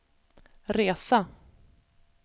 resa